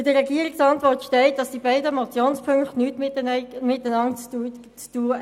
In der Regierungsantwort steht, die beiden Motionspunkte hätten nichts miteinander zu tun.